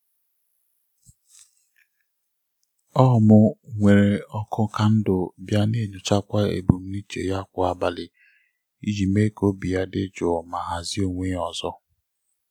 ọ mụ nwere ọkụ kandụl bịa na-enyochakwa ebumnuche ya kwa abalị iji mee ka obi ya dị jụụ ma hazie onwe ya ọzọ.